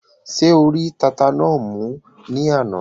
Ṣé o rí tata náà mú ní àná?